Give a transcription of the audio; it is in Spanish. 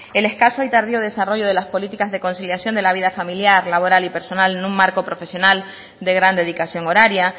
el escaso y tardío desarrollo de las políticas de conciliación de la vida familiar laboral y personal en un marco profesional de gran dedicación horaria